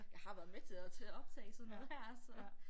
Jeg har været med til at til at optage sådan noget her så